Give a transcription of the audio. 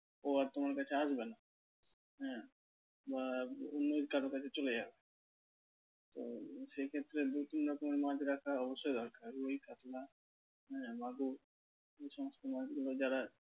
ও আর তোমার কাছে আসবে না। হ্যাঁ বা অন্য কারো কাছে চলে যাবে তো সে ক্ষেত্রে দু তিন রকমের মাছ রাখা অবশ্যই দরকার। রুই কাতলা হ্যাঁ মাগুর এই সমস্ত মাছগুলো যারা